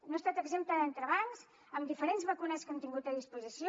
no ha estat exempta d’entrebancs amb diferents vacunes que hem tingut a disposició